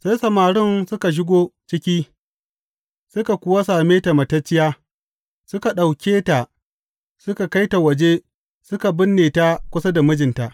Sai samarin suka shigo ciki, suka kuwa same ta matacciya, suka ɗauke ta suka kai ta waje suka binne ta kusa da mijinta.